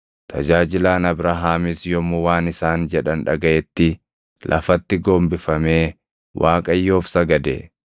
Tajaajilaan Abrahaamis yommuu waan isaan jedhan dhagaʼetti lafatti gombifamee Waaqayyoof sagade.